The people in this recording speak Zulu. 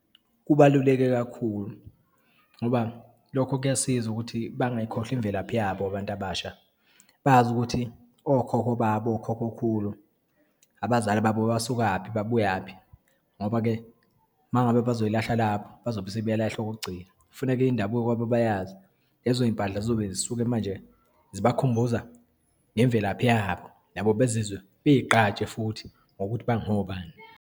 Kubaluleke kakhulu ngoba, lokho kuyasiza ukuthi bangayikhohlwa imvelaphi yabo abantu abasha, bazi ukuthi okhokho babo, okhokhokhulu, abazali babo basukaphi, babuyaphi, ngoba-ke uma ngabe bazoyilahla lapho bazobe sebeyilahla okokugcina. Kufuneke indabuko kwabo bayazi. Lezo yimpahla zizobe zisuke manje zibakhumbuza ngemvelaphi yabo, nabo bezizwe, bayigqaje futhi ngokuthi bangobani.